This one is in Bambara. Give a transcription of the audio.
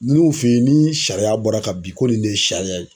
N'u fe yen ni sariya bɔra ka bin ko nin de ye sariya ye.